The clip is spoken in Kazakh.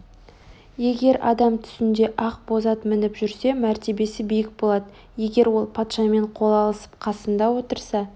егер адам түсінде ақ боз ат мініп жүрсе мәртебесі биік болады егер ол патшамен қол алысып қасында отырса